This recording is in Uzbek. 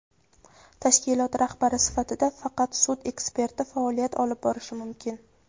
Tashkilot rahbari sifatida faqat sud eksperti faoliyat olib borishi mumkin.